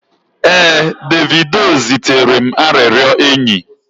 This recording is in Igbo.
ee, Davido zitere m arịrịọ enyi